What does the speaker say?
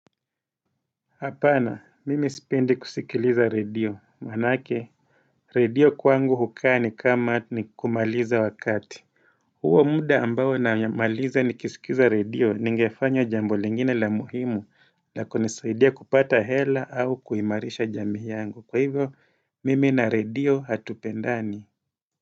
Hapana, mimi sipendi kusikiliza radio. Manake, radio kwangu ukaa ni kama ni kumaliza wakati. Huo muda ambao namaliza ni kisikiza radio ningefanya jambo lingine la muhimu lanizaidia kupata hela au kuimarisha jami yangu. Kwa hivyo, mimi na radio hatupendani.